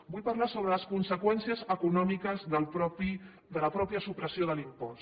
vull parlar sobre les conseqüències econòmiques de la mateixa supressió de l’impost